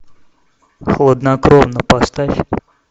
хладнокровно поставь